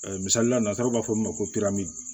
Misali la nansaraw b'a fɔ ma ko